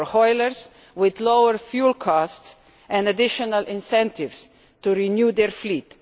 for hauliers with lower fuel costs and additional incentives to renew their fleet